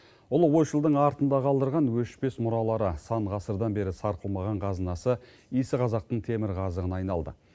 ұлы ойшылдың артында қалдырған өшпес мұралары сан ғасырдан бері сарқылмаған қазынасы иісі қазақтың темірқазығына айналды